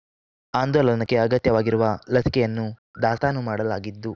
ಆಂದೋಲನಕ್ಕೆ ಅಗತ್ಯವಾಗಿರುವ ಲಸಿಕೆಯನ್ನು ದಾಸ್ತಾನು ಮಾಡಲಾಗಿದ್ದು